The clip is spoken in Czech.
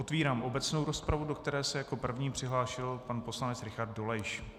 Otevírám obecnou rozpravu, do které se jako první přihlásil pan poslanec Richard Dolejš.